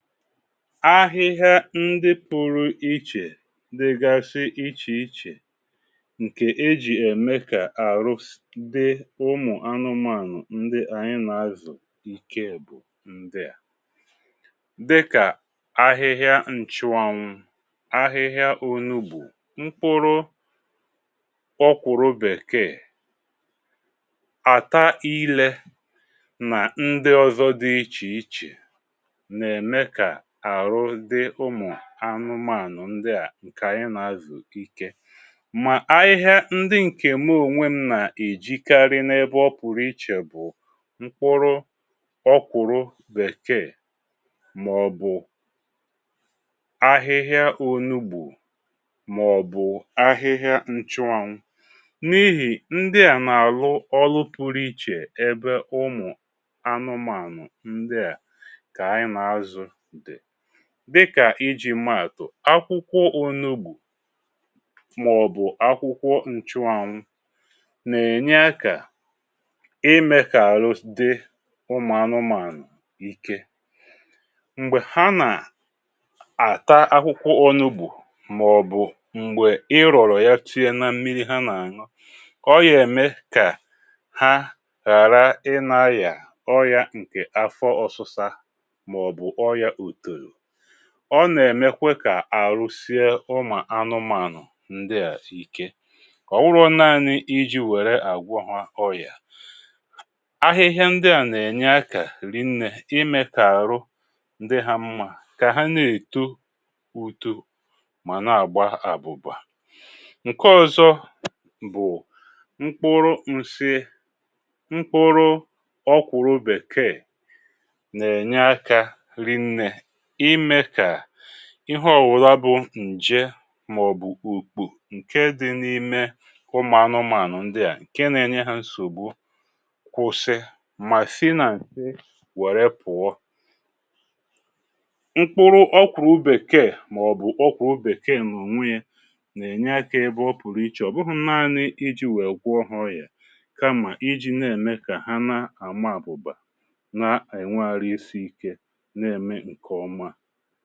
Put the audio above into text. Ahịhịa ndị pụrụ ichè dịgashị ichèichè ǹkè e jì ème kà àrụs dị ụmụ̀ anụmȧnụ̀ ndị anyị nà-azụ̀ ike bụ̀ ndịà: dịkà ahịhịa ǹchụànwụ̀, ahịhịa ònùgbu, mkpụrụ ọkwụrụ bèkeè, àta ilė nà ndị ọzọ dị ichèichè n’eme ka arụ dị ụmụ ànụmànụ̀ ndị à ǹkè ànyị nà-azụ̀ ike. Mà ahịhịa ndị ǹkè me ònwe m nà-èjikarị n’ebe ọ pụ̀rụ̀ ichè bụ̀ nkwụrụ ọ kwụ̀rụ bèkeè mà ọ̀ bụ̀ ahịhịa ònugbù mà ọ̀ bụ̀ ahịhịa nchụanwụ n’ihì ndị à nà-àrụ ọlụ pụrụ ichè ebe ụmụ̀ anụmànụ̀ ndị à ka anyị n’azụ dị. Dịkà ijì maa atụ akwụkwọ onugbù màọ̀bụ̀ akwụkwọ ǹchụanwụ nà-ènye akȧ imė kà arụ dị ụmụ̀ anụmȧnụ̀ ike. Mgbè ha nà-àta akwụkwọ onugbù màọ̀bụ̀ m̀gbè ịrọ̀rọ̀ ya tinye na mmiri ha nà-àṅụ ọ gà-ème kà ha ghàra ịnȧ arị ọrịa ǹkè afọ ọ̀sịsa m’ọ̀bụ̀ ọ̀rịa oto. Ọ nà-èmekwe kà àrụ sie ụmụ̀ anụmanụ̀ ǹdịà ike. Ọ wụrụ nȧȧni iji̇ wèrè àgwọ hà ọrị̀à, ahịhịa ǹdịà nà-ènye akȧ rinnė imė kà àrụ ǹdị hȧ mmȧ kà ha nà-èto uto mà na-àgba àbụ̀bà. Nke ọzọ bụ̀ mkpụrụ nsị mkpụrụ ọkwụ̀rụ bèkeè n’enye aka riinne ime ka ihe ọ̀wụla bụ̀ ǹje màọ̀bụ̀ ukpù ǹke dị n’ime ụmụ̀ anụmụ̀ànụ̀ ndị à ǹke na-enye ha nsògbu kwụsị mà sinà nshị wère pụ̀ọ. Mkpụrụ ọkwụ̀rụ̀ bekeè màọ̀bụ̀ ọkwụ̀rụ bekeè n’ònwe ya nà-ènye akȧ ebe ọ pụ̀rụ̀ ichè ọ̀ bụhụ̇ naanị iji̇ wèe gwụọ ha ọrịa kama iji n’eme ka ha n’ama abụba na enwe arụ isi ike n’eme nke ọma